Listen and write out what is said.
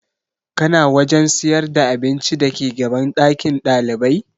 Kana wajen sayar da abinci dake gaban ɗakin ɗalibai?